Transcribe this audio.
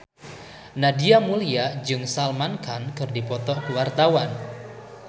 Nadia Mulya jeung Salman Khan keur dipoto ku wartawan